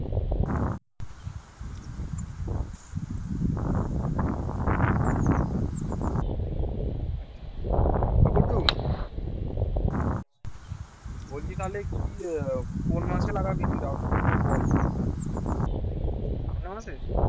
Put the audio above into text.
আচ্ছা এ গুড্ডু বলছি তাহলে কি কোন মাসে লাগাবি রাউটার ফাউটার বল আগের মাসে